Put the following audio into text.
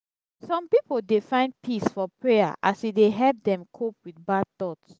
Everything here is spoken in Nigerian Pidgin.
some pipo dey find peace for prayer as e dey help dem cope with bad thoughts.